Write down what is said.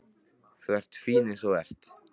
Þú ert fín eins og þú ert.